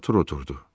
Artur oturdu.